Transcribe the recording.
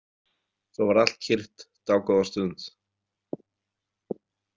Svo varð allt kyrrt dágóða stund.